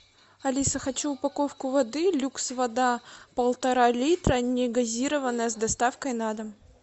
алиса хочу упаковку воды люкс вода полтора литра негазированная с доставкой на дом